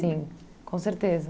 Sim, com certeza.